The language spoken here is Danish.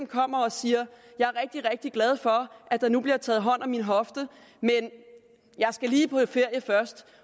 kommer og siger jeg er rigtig rigtig glad for at der nu bliver taget hånd om min hofte men jeg skal lige på lidt ferie først